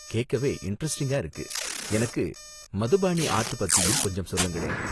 கேக்கவே இண்டரெஸ்ட்டிங்கா இருக்கு, எனக்கு மதுபாணி ஆர்ட் பத்தியும் கொஞ்சம் சொல்லுங்களேன்.